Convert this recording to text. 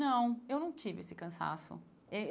Não, eu não tive esse cansaço.